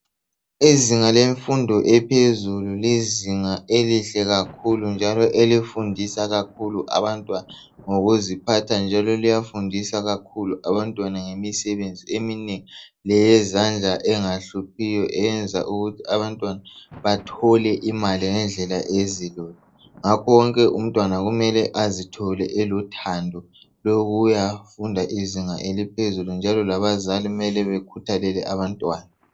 Izinga lemfundo ephezulu lizinga elihle kakhulu njalo elifundisa kakhulu abantwana ngokuziphatha njalo liyafundisa kakhulu abantwana ngemisebenzi eminengi leyezandla engahluphiyo eyenza ukuthi abantwana bathole imali ngendlela ezilula ngakho wonke umtwana kumele azithole elothando lokuyafunda izinga eliphezulu njalo labazali mele bekhuthalele abantwana